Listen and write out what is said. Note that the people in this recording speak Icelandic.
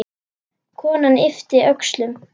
Konan yppti öxlum.